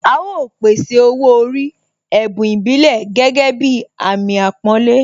A ó pèsè Owó orí, ẹ̀bùn ìbílẹ̀ gẹ́gẹ́ bí Àmín àpọ́nlé